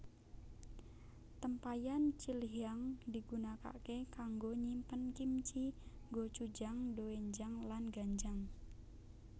Tempayan Chilhyang digunakake kanggo nyimpen kimchi gochujang doenjang lan ganjang